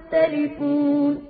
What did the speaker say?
يَخْتَلِفُونَ